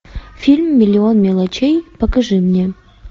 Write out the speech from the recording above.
фильм миллион мелочей покажи мне